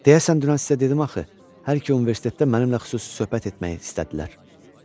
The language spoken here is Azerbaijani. Deyəsən dünən sizə dedim axı, hər iki universitetdə mənimlə xüsusi söhbət etmək istədilər.